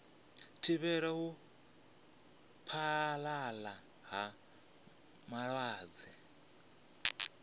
thivhela u phaḓalala ha malwadze